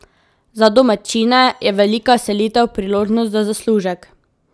Za domačine je velika selitev priložnost za zaslužek.